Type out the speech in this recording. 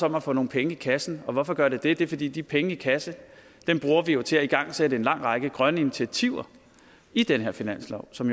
om at få nogle penge i kassen og hvorfor gør det det det er fordi de penge i kassen bruger vi jo til at igangsætte en lang række grønne initiativer i den her finanslov som